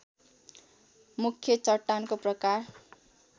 मुख्य चट्टानको प्रकार